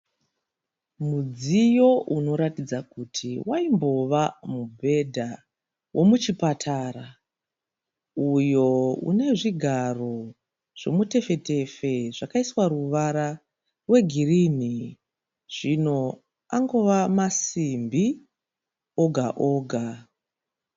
Mudziyo unoratidza kuti waimbova mubhedha womuchipatara uyo unezvigaro zvomutefetefe zvakaiswa ruvara rwegirini, zvino angova masimbi oga-oga.